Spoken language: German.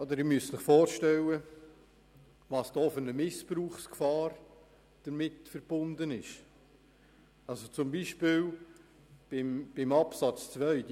Sie müssen sich vorstellen, welche Missbrauchsgefahr damit verbunden ist, beispielsweise bezüglich Artikel 184 b Absatz 2 (neu):